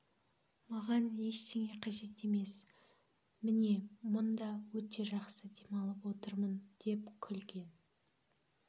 маған ештеңе қажет емес мне мұнда өте жақсы демалып отырмын деп күлген